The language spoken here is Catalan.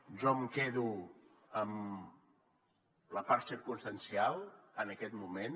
jo em quedo amb la part circumstancial en aquest moment